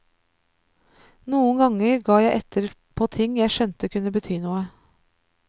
Noen ganger gav jeg etter på ting jeg skjønte kunne bety noe.